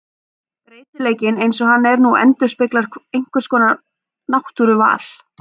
Breytileikinn eins og hann er nú endurspeglar einhvers konar náttúruval.